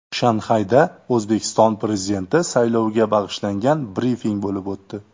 Shanxayda O‘zbekiston Prezidenti sayloviga bag‘ishlangan brifing bo‘lib o‘tdi.